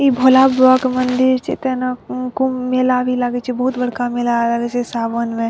ई भोला बाबा के मंदिर छे तेना कुम्भ मेला भी लागी छे बहुत बड़का मेला लागी छे सावन में।